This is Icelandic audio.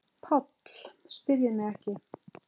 PÁLL: Spyrjið mig ekki.